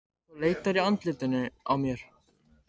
Þú leitar í andlitinu á mér.